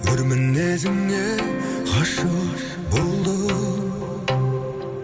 өр мінезіңе ғашық болдым